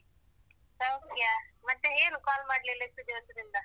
ಸೌಖ್ಯ. ಮತ್ತೆ ಏನು call ಮಾಡ್ಲಿಲ್ಲ ಇಷ್ಟು ದಿವಸದಿಂದ?